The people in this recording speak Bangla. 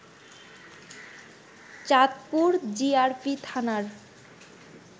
চাঁদপুর জিআরপি থানার